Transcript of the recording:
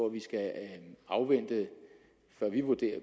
at vi skal afvente før vi